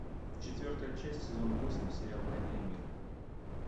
четвертая часть сезон восемь сериал война и мир